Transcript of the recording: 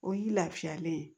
O y'i lafiyalen ye